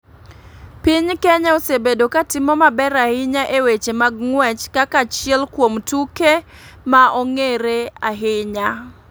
Piny kenya osebedo ka timo maber ahinya e weche mag ng'uech kaka achiel kuom tuke ma ong'ere ahinya.